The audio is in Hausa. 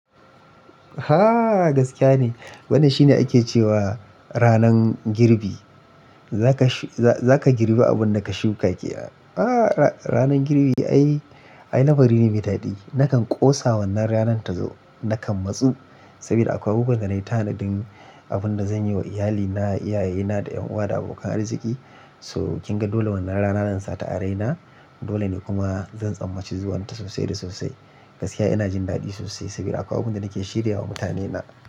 Ha gaskiya ne, wannan shine ake cewa ranan girbi, zaka girbi abun da ka shuka ke. Ha ranan girbi ai lamari ne mai dadi. Nakan ƙosa wannan ranan ta zo nakan matsu saboda akwai bukukuwa ga na yi ta haɗin abun da zan yi wa iyalina, iyaye na da ƴan uwa da abokan arziki. So kin ga dole wannan rana na zan sa ta araina dole ne kuma zan tsammaci zuwan ta sosai da sosai. Gaskiya ina jin dadi sosai saboda akwai abun da nake shirya wa mutane na.